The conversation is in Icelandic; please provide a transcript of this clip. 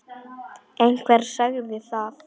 Einhver sagði það.